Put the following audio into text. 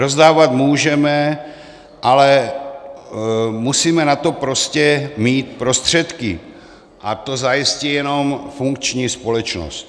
Rozdávat můžeme, ale musíme na to prostě mít prostředky, a to zajistí jenom funkční společnost.